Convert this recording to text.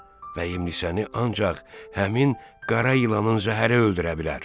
Vəhimlisəni ancaq həmin qara ilanın zəhəri öldürə bilər.